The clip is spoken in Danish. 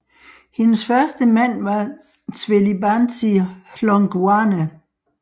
Hendes første mand var Zwelibanzi Hlongwane